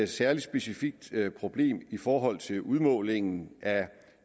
særlig specifikt problem i forhold til udmålingen af